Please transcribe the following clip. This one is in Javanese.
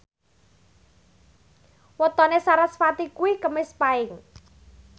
wetone sarasvati kuwi Kemis Paing